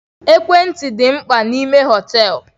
Ekwentị dị mkpa n'ime hoteelu.